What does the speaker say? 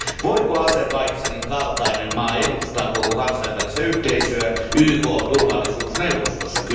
Voiko Azerbaidžanin kaltainen maa edustaa koko kansainvälistä yhteisöä YKn turvallisuusneuvostossa?